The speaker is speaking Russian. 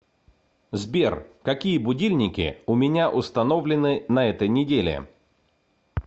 сбер какие будильники у меня установлены на этой неделе